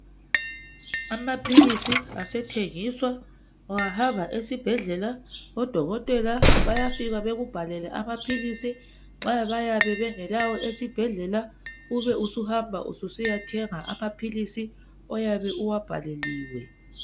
Amaphilisi asethengiswa, ungahamba esibhedlela odokotela bayafika bekubhalele amaphilisi. Nxa bayabe bengelawo esibhedlela ube usuhanba ususiya thenga amaphilisi oyabe uwabhaleliwe.